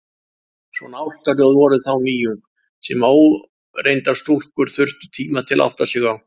Svona ástarljóð voru þá nýjung, sem óreyndar stúlkur þurftu tíma til að átta sig á.